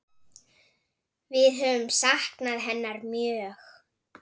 Við höfum saknað hennar mjög.